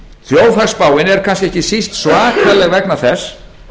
þjóðhagsspáin er kannski ekki síst svakaleg vegna þess